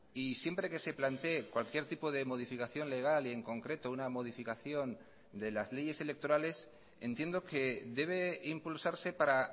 y siempre que se plantee cualquier tipo de modificación legal y en concreto una modificación de las leyes electorales entiendo que debe impulsarse para